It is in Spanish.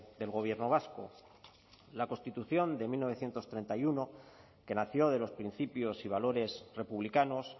del gobierno vasco la constitución de mil novecientos treinta y uno que nació de los principios y valores republicanos